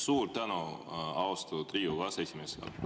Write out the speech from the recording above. Suur tänu, austatud Riigikogu aseesimees!